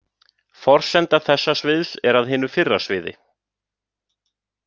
Forsenda þessa sviðs er að hinu fyrra sviði.